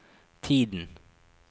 tiden